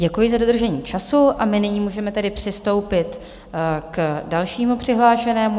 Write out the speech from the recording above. Děkuji za dodržení času a my nyní můžeme tedy přistoupit k dalšímu přihlášenému.